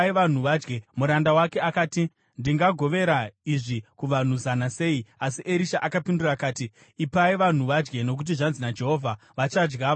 Muranda wake akati, “Ndingagovera izvi kuvanhu zana sei?” Asi Erisha akapindura akati, “Ipai vanhu vadye. Nokuti zvanzi naJehovha, ‘Vachadya vakasiya zvimwe.’ ”